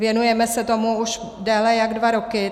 Věnujeme se tomu už déle jak dva roky.